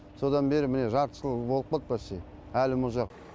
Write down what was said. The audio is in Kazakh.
содан бері міне жарты жыл болып қалды почти әлі мұз жоқ